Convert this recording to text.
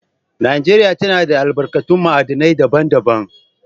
Najeriya tana da albarkatun ma'adinai daban-daban.